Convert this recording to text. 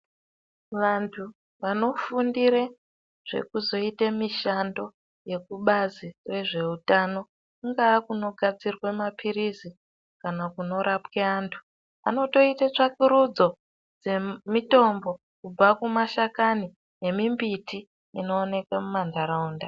Vantu vanofundire zvekuzoite mishando yekubazi rezvehutano, kungaa kunogadzirwe maphirizi, kana kunorapwa antu, vanotoite tsvakurudzo dzemitombo kubve kumashakani nemimbiti inooneka mumanharaunda.